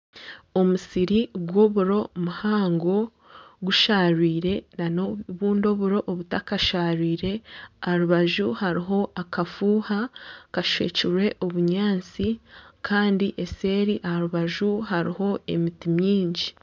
Omusiri gw'oburo muhango gusharwire nana obundi oburo obu takasharwirwe. Aha rubaju hariho akafuuha kashwekirwe obunyaatsi kandi eseeri aha rubaju hariho emiti mingi.